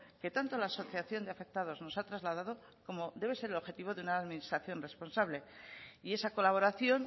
que tanto la asociación de afectados nos ha trasladado como debe ser el objetivo de una administración responsable y esa colaboración